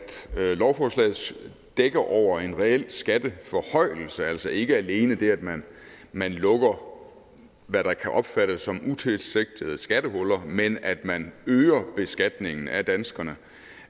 lovforslaget dækker over en reel skatteforhøjelse altså ikke alene det at man man lukker hvad der kan opfattes som utilsigtede skattehuller men at man øger beskatningen af danskerne